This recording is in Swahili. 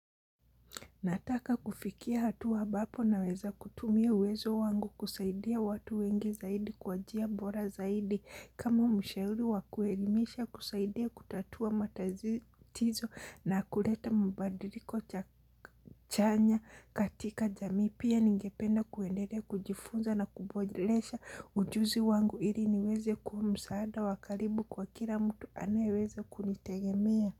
Nataka kufikia hatua ambapo naweza kutumia uwezo wangu kusaidia watu wengi zaidi kwa njia bora zaidi kama mshauri wakuelimisha kusaidia kutatua matazi, tizo na kuleta mabadiliko cha chanya katika jamii pia ningependa kuendelea kujifunza na kuboresha ujuzi wangu ili niweze kua msaada wa karibu kwa kila mtu anaeweza kunitegemea.